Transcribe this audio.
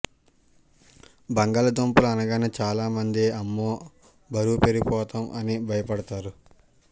బంగాళాదుంపలు అనగానే చాలా మంది అమ్మో బరువు పెరిగిపోతాం అని భయపడతారు